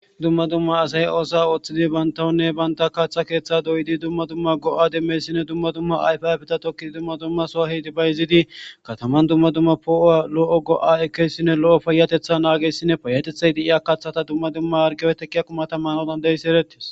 Dumma dumma asay oosuwa ooththidi bantawunne banta kaththa keeththa doyidi dumma dumma go'a demmyayssinne dumma dumma ayfa ayfeta tokkidi dumma dumma soo efidi bayzidi kataman dumma dumma poo'uwa lo'o go'a ekkiyayssinne lo'o payyateththa naagiyayssinne payyteththay de'iya kaththata dumma dumma harggeppe teqqiya qumata maanawu dana'iyayssi eretes.